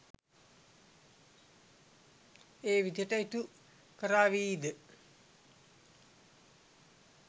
ඒ විදිහට ඉටු කරාවි ද?